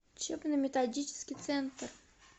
учебно методический центр